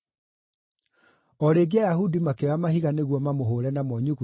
O rĩngĩ Ayahudi makĩoya mahiga nĩguo mamũhũũre namo nyuguto,